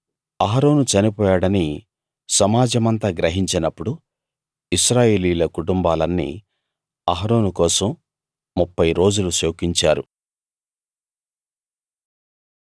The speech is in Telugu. అహరోను చనిపోయాడని సమాజమంతా గ్రహించినప్పుడు ఇశ్రాయేలీయుల కుటుంబాలన్నీ అహరోను కోసం ముప్ఫై రోజులు శోకించారు